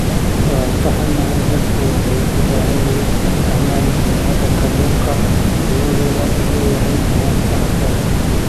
Waan ka xunnahay, dadku waxay u baahan yihiin inay fahmaan muhiimadda kalluunka uu u leeyahay nidaamka cuntada.